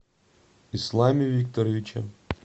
исламе викторовиче